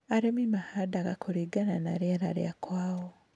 Arĩmi mahandaga kũringana na rĩera rĩakwao.